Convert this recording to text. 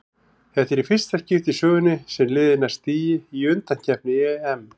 Þetta er fyrsta í skipti í sögunni sem liðið nær stigi í undankeppni EM.